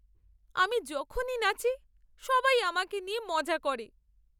আমি যখনই নাচি, সবাই আমাকে নিয়ে মজা করে।